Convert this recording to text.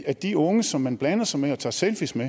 at de unge som man blander sig med og tager selfier